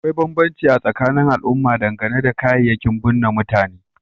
Akwai banbanci a tsakanin al'umma dangane da kayayyakin bunne mutane